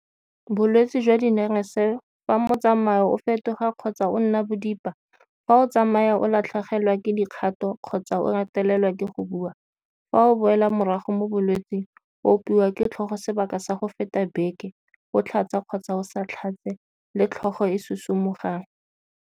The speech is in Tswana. Bolwetse jwa dinerese fa motsamao o fetoga kgotsa o nna bodipa, fa o tsamaya o latlhegelwa ke dikgato kgotsa o retelelwa ke go bua, fa o boela morago mo bolwetseng, o opiwa ke tlhogo sebaka sa go feta beke o tlhatsa kgotsa o sa tlhatse le tlhogo e e susumogang.